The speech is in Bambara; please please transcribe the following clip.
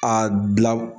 A bila